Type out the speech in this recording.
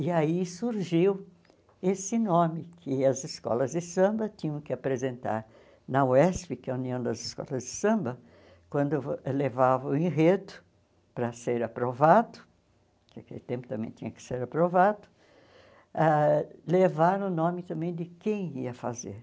E aí surgiu esse nome que as escolas de samba tinham que apresentar na UESP, que é a União das Escolas de Samba, quando levavam o enredo para ser aprovado, que naquele tempo também tinha que ser aprovado, ãh levaram o nome também de quem ia fazer.